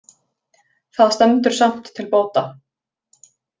Það stendur samt til bóta